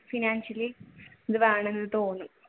financially ഇത് വേണമെന്ന് തോന്നും